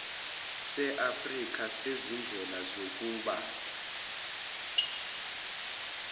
seafrika sezindlela zokumba